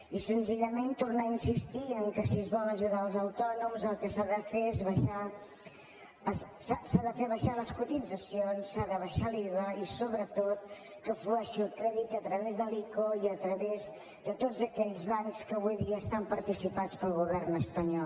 i senzillament tornar a insistir en el fet que si es vol ajudar els autònoms el que s’ha de fer és abaixar les cotitzacions s’ha d’abaixar l’iva i sobretot que flueixi el crèdit a través de l’ico i a través de tots aquells bancs que avui dia estan participats pel govern espanyol